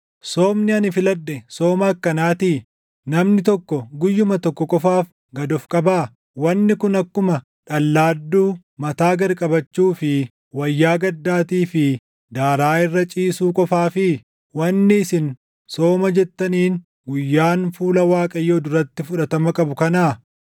Soomni ani filadhe sooma akkanaatii? Namni tokko guyyuma tokko qofaaf gad of qabaa? Wanni kun akkuma dhallaadduu mataa gad qabachuu fi wayyaa gaddaatii fi daaraa irra ciisuu qofaafii? Wanni isin sooma jettaniin guyyaan fuula Waaqayyoo duratti fudhatama qabu kanaa?